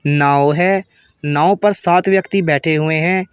नाव है नाव पर सात व्यक्ति बैठे हुए हैं।